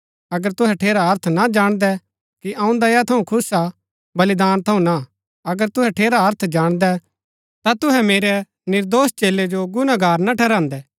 अगर तुहै ठेरा अर्थ ना जाणदै कि अऊँ दया थऊँ खुश हा बलिदान थऊँ ना अगर तुहै ठेरा अर्थ जाणदै ता तुहै मेरै निर्दोष चेलै जो गुनागार ना ठहरान्दै